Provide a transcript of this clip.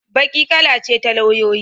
Baƙi kala ce ta lauyoyi.